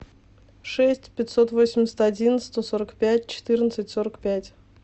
шесть пятьсот восемьдесят один сто сорок пять четырнадцать сорок пять